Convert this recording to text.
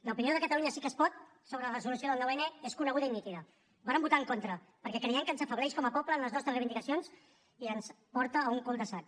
l’opinió de catalunya sí que es pot sobre la resolució del nou n és coneguda i nítida hi vàrem votar en contra perquè creiem que ens afebleix com a poble en les nostres reivindicacions i ens porta a un cul de sac